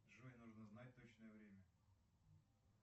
джой нужно знать точное время